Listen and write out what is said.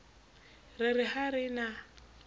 re re ha re na